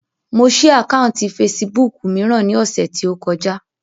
Mo ṣí àkáùntì fesibúùkù mìíràn ní ọ̀sẹ̀ tí ó kọjá